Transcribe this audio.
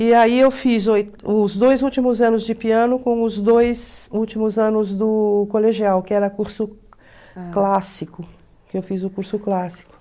E aí eu fiz os dois últimos anos de piano com os dois últimos anos do colegial, que era curso clássico, que eu fiz o curso clássico.